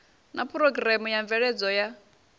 na phurogireme ya mveledzo ya